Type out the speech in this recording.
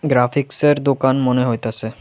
গ্রাফিক্সের দোকান মনে হইতাসে।